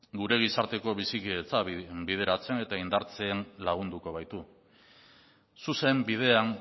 gure gizarteko bizikidetza bideratzen eta indartzen lagunduko baitu zuzen bidean